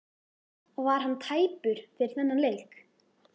Var hann tæpur fyrir þennan leik?